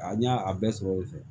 A ɲa a bɛɛ sɔrɔ yen fɛ